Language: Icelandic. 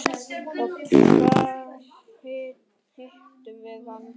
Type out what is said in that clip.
Og hvar hittum við hann?